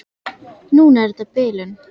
Núna er þetta bilun.